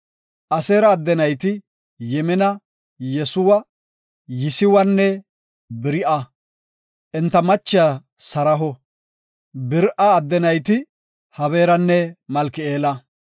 Aseera adde nayti Yimina, Yesuwa, Yisiwanne Beri7a. Enta michiya Saraho. Beri7a adde nayti Hebeeranne Malki7eela.